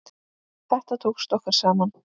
Þetta tókst okkur saman.